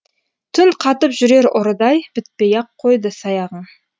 түн қатып жүрер ұрыдай бітпей ақ қойды саяғың